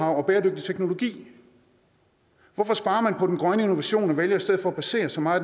og bæredygtig teknologi hvorfor sparer man på den grønne innovation og vælger i stedet for at basere så meget